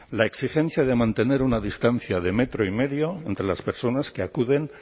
la exigencia de mantener una distancia de metro y medio entre las personas que acuden